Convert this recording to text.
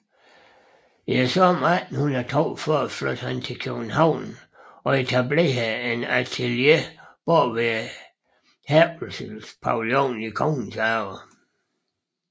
I sommeren 1842 flyttede han til København og etablerede et atelier bag Herkulespavillonen i Kongens Have